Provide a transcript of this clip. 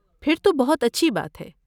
پھر تو بہت اچھی بات ہے!